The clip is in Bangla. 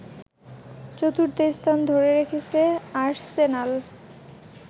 চতুর্থ স্থান ধরে রেখেছে আর্সেনাল